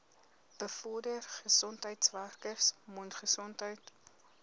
bevorder gesondheidswerkers mondgesondheid